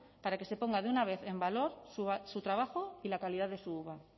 para que se ponga de una vez en valor su trabajo y la calidad de su uva